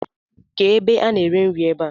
ké ebe a na ere nri ebá?